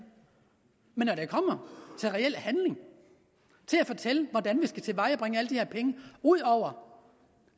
men når det kommer til reel handling til at fortælle hvordan vi skal tilvejebringe alle de her penge ud over